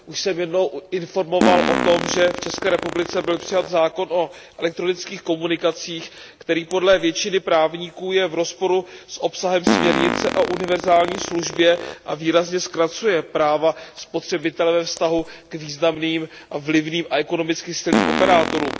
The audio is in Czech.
Už jsem jednou informoval o tom, že v ČR byl přijat zákon o elektronických komunikacích, který podle většiny právníků je v rozporu s obsahem směrnice o univerzální službě a výrazně zkracuje práva spotřebitele ve vztahu k významným, vlivným a ekonomicky silným operátorům.